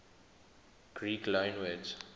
greek loanwords